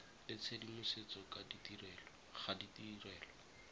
le tshedimosetso ka ga ditirelo